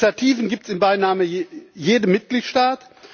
Die Initiativen gibt es in beinahe jedem Mitgliedstaat.